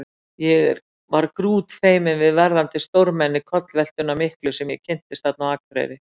Ég var grútfeiminn við verðandi stórmenni kollveltunnar miklu sem ég kynntist þarna á Akureyri.